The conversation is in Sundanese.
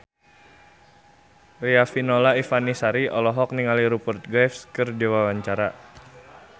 Riafinola Ifani Sari olohok ningali Rupert Graves keur diwawancara